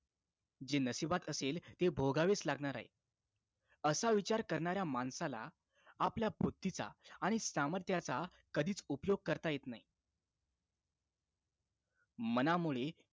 जे नशिबात असेल ते भोगावेच लागणार आहे असा विचार करणाऱ्या माणसाला आपल्या बुद्धीचा आणि सामर्थ्याचा कधीच उपयोग करता येत नाही मनामुळे